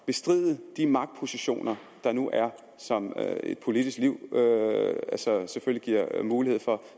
bestride de magtpositioner der nu er som et politisk liv selvfølgelig giver mulighed for og